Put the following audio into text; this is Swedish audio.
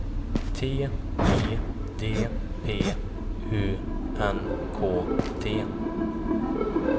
T I D P U N K T